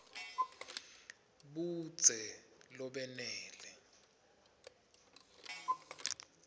budze lobenele